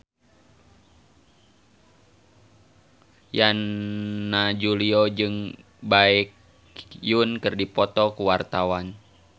Yana Julio jeung Baekhyun keur dipoto ku wartawan